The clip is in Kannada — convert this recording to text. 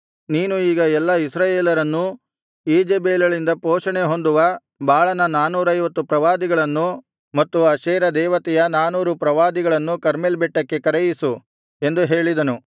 ನೀನು ಈಗ ಎಲ್ಲಾ ಇಸ್ರಾಯೇಲರನ್ನೂ ಈಜೆಬೆಲಳಿಂದ ಪೋಷಣೆ ಹೊಂದುವ ಬಾಳನ ನಾನೂರೈವತ್ತು ಪ್ರವಾದಿಗಳನ್ನು ಮತ್ತು ಅಶೇರ ದೇವತೆಯ ನಾನೂರು ಪ್ರವಾದಿಗಳನ್ನು ಕರ್ಮೆಲ್ ಬೆಟ್ಟಕ್ಕೆ ಕರೆಯಿಸು ಎಂದು ಹೇಳಿದನು